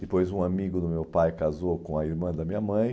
Depois, um amigo do meu pai casou com a irmã da minha mãe.